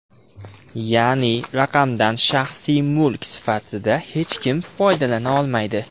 Ya’ni raqamdan shaxsiy mulk sifatida hech kim foydalana olmaydi.